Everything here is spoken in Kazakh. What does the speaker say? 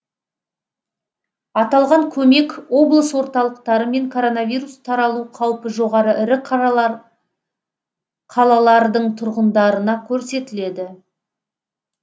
аталған көмек облыс орталықтары мен коронавирус таралу қаупі жоғары ірі қалалардың тұрғындарына көрсетіледі